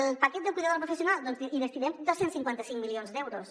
al paquet del cuida·dor no professional doncs hi destinem dos cents i cinquanta cinc milions d’euros